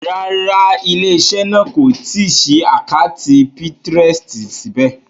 Rárá, ilé-iṣẹ́ náà kò tí ì ṣí àkátì Pinterest síbẹ̀.